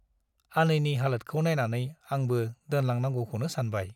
आनैनि हालोदखौ नाइनानै आंबो दोनलांनांगौखौनो सानबाय ।